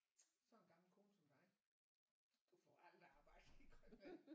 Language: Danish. Sådan en gammel kone som dig du får aldrig arbejde i Grønland